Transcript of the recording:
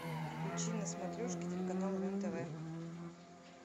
включи на смотрешке телеканал рен тв